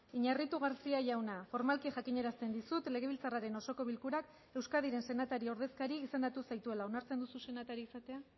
iñarritu garcía jauna formalki jakinarazten dizut legebiltzarraren osoko bilkurak euskadiren senatari ordezkari izendatu zaituela onartzen duzu senatari izatea